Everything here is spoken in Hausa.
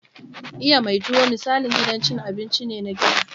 Iya mai tuwo misalin gidan cin abinci ne na gida.